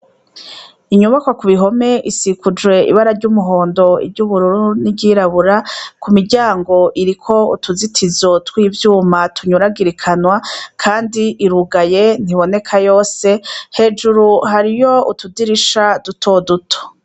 Inyubakwa kubihome isikujwe ibara ryumuhondo iryubururu niryirabura kumiryango iriko utuzitizo twivyuma tunyuragirikanwa kandi irugaye ntibineka yose hejuru hariyo utudirisha duto duto